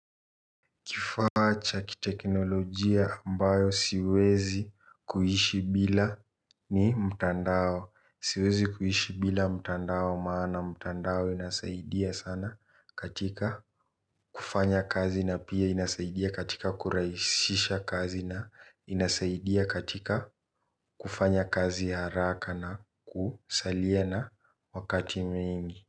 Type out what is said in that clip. Kifaa cha kiteknolojia ambayo siwezi kuishi bila ni mtandao. Siwezi kuishi bila mtandao maana mtandao inasaidia sana katika kufanya kazi na pia inasaidia katika kurahisisha kazi na inasaidia katika kufanya kazi ya haraka na kusalia na wakati mwingi.